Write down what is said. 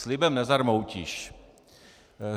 Slibem nezarmoutíš.